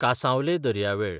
कासांवले दर्यावेळ